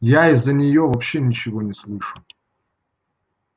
я из-за неё вообще ничего не слышу